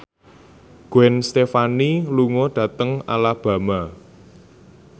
Gwen Stefani lunga dhateng Alabama